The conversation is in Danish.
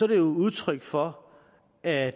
det jo udtryk for at